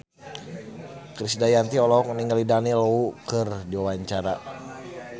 Krisdayanti olohok ningali Daniel Wu keur diwawancara